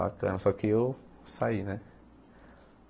Bacana, só que eu saí, né?